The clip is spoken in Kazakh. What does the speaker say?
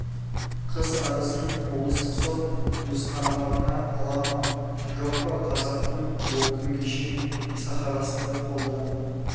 қыз арызын облыстық сот өз қарамағына ала ма жоқ па қазақтың бұл күнге шейін сахарасында қолданып